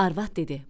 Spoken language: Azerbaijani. Arvad dedi: